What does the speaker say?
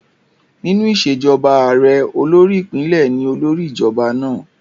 Nínú ìṣèjọba ààrẹ, olórí ìpínlẹ̀ ni olórí ìjọba náà